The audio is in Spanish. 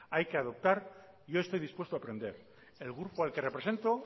hay que adoptar yo estoy dispuesto a aprender el grupo al que represento